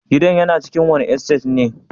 Gidan yana cikin wani estate ne?